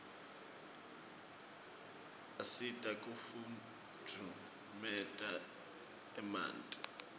asita kufutfumietia emanti